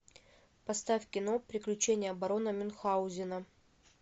поставь кино приключения барона мюнхаузена